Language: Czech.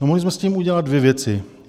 No, mohli jsme s tím udělat dvě věci.